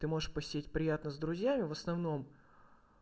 ты можешь посидеть приятно с друзьями в основном